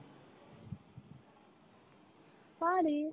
পারি।